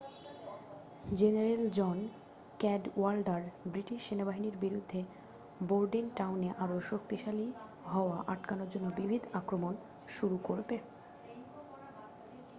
general John Cadwalader British সেনাবাহিনীর বিরুদ্ধে বোর্ডেনটাউনে আরও শক্তিশালী হওয়া আটকানোর জন্য বিবিধ আক্রমণ শুরু করবে